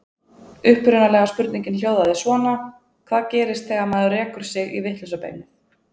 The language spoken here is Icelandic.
Upprunalega spurningin hljóðaði svona: Hvað gerist þegar maður rekur sig í vitlausa beinið?